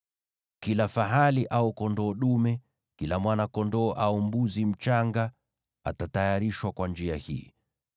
Kila fahali au kondoo dume, kila mwana-kondoo au mbuzi mchanga, atatayarishwa kwa njia hii.